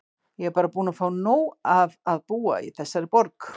Ég er bara búin að fá nóg af að búa í þessari borg.